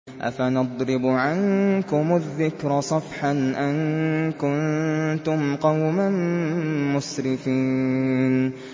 أَفَنَضْرِبُ عَنكُمُ الذِّكْرَ صَفْحًا أَن كُنتُمْ قَوْمًا مُّسْرِفِينَ